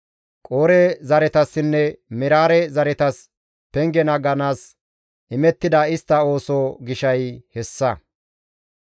Qoore zaretasinne Meraare zaretas penge naaganaas imettida istta ooso gishay hessa.